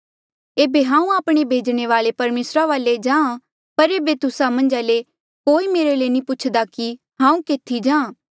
एेबे हांऊँ आपणे भेजणे वाल्ऐ परमेसरा वाले जाहाँ पर एेबे तुस्सा मन्झा ले कोई मेरे ले नी पुछदा कि हांऊँ केथी जाहाँ